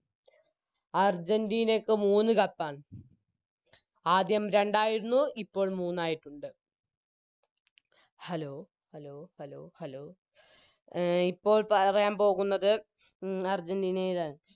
അർജന്റീനക്ക് മൂന്ന് Cup ആണ് ആദ്യം രണ്ടായിരുന്നു ഇപ്പോൾ മൂന്നായിട്ടുണ്ട് Hello hello hello hello എ ഇപ്പോൾ പറയാൻ പോകുന്നത് മ് അർജന്റീനയിലാണ്